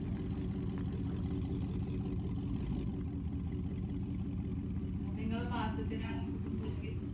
നിങ്ങള് മാസത്തിലാണോ കുടുംബശ്രീ